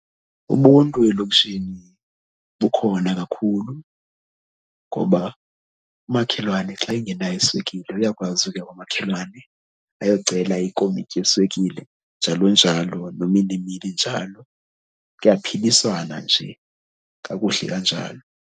Ubuntu elokishini bukhona kakhulu ngoba umakhelwane xa engenayo iswekile uyakwazi ukuya kwamakhelwane ayocela ikomityi yeswekile, njalo njalo, nomilimili njalo. Kuyaphiliswana nje kakuhle kanjalo.